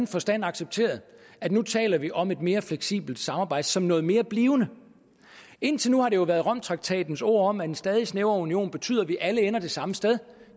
forstand accepteret at nu taler vi om et mere fleksibelt samarbejde som noget mere blivende indtil nu har det jo været romtraktatens ord om at en stadig snævrere union betyder at vi alle ender det samme sted